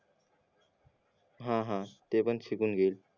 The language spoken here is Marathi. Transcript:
हा हा ते पण शिकून घेईल